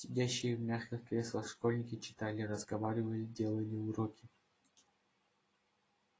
сидящие в мягких креслах школьники читали разговаривали делали уроки